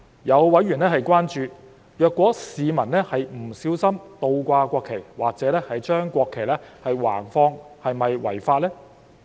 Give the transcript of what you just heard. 有委員關注，如果市民是不小心倒掛國旗或者把國旗橫放是否違法。